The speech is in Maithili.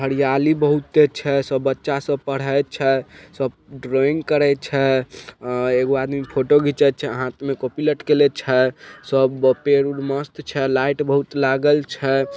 हरियाली बहुते छै सब बच्चा सब पढ़य छै सब ड्राइंग करे छै एगो आदमी फोटो खींचे छै हाथ में कॉपी लटकेएले छै सब पेड़ उर बहुत मस्त छै लाइट बहुत लागल छै।